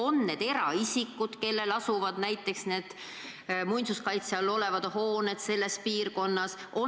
On need eraisikud, kelle muinsuskaitse all olevad hooned asuvad sellises piirkonnas?